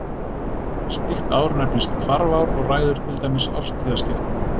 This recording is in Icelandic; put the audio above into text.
Slíkt ár nefnist hvarfár og ræður til dæmis árstíðaskiptum.